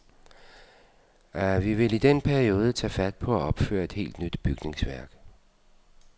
Vi vil i den periode tage fat på at opføre et helt nyt bygningsværk.